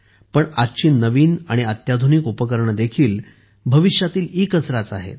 पण आजची नवीन आणि अत्याधुनिक उपकरणे देखील भविष्यातील ईकचराच आहेत